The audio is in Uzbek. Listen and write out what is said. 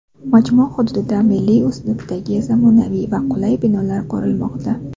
Majmua hududida milliy uslubdagi zamonaviy va qulay binolar qurilmoqda.